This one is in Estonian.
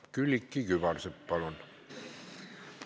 Külliki Kübarsepp, palun!